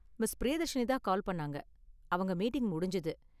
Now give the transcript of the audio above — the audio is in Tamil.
மிஸ். பிரியதர்ஷினி தான் கால் பண்ணாங்க, அவங்க மீட்டிங் முடிஞ்சது.